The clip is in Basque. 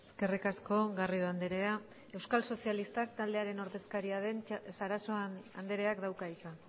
eskerrik asko garrido andrea euskal sozialistak taldearen ordezkaria den sarasua andreak dauka hitza